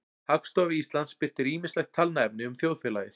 Hagstofa Íslands birtir ýmislegt talnaefni um þjóðfélagið.